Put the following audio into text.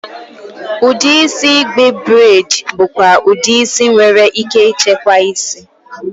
Udi isi igbe braidi bụkwa udi isi nwere ike ịchekwa isi.